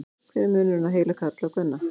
hver er munurinn á heila karla og kvenna